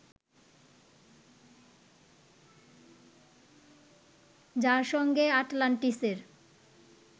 যার সঙ্গে আটলান্টিসের